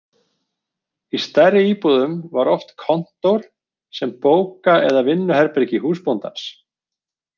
Í stærri íbúðum var oft kontór sem bóka- eða vinnuherbergi húsbóndans.